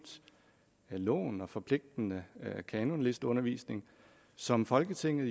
loven om forpligtende kanonlisteundervisning som folketinget